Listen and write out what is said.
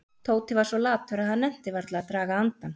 Tóti var svo latur að hann nennti varla að draga andann.